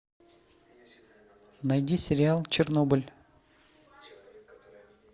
найди сериал чернобыль